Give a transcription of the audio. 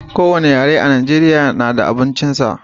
Ko wani yare a najeriya na da abincin sa